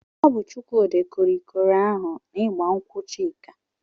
Ọ bụ Chukwudi kụrụ ikoro ahụ n'igba nkwụ Chika.